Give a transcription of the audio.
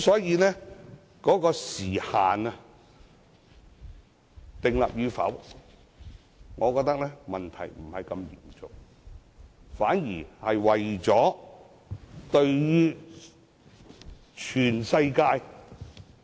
因此，是否設立時限，我認為問題不大，反而為了全世界......